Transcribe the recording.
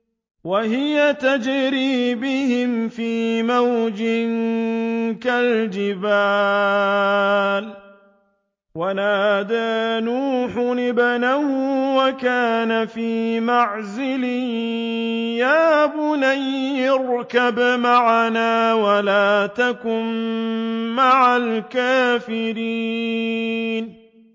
وَهِيَ تَجْرِي بِهِمْ فِي مَوْجٍ كَالْجِبَالِ وَنَادَىٰ نُوحٌ ابْنَهُ وَكَانَ فِي مَعْزِلٍ يَا بُنَيَّ ارْكَب مَّعَنَا وَلَا تَكُن مَّعَ الْكَافِرِينَ